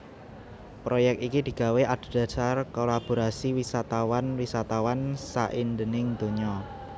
Proyek iki digawé adhedhasar kolaborasi wisatawan wisatawan saindhenging donya